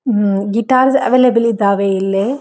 ಹ್ಮ್ಮ್ guitar available ಇದಾವೆ ಇಲ್ಲಿ.